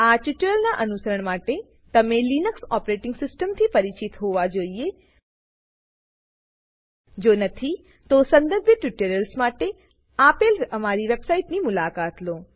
આ ટ્યુટોરીયલનાં અનુસરણ માટે તમે લિનક્સ ઓપરેટિંગ સિસ્ટમ થી પરિચિત હોવા જોઈએ જો નથી તો સંબંધિત ટ્યુટોરિયલ્સ માટે આપેલ અમારી વેબસાઈટની મુલાકાત લો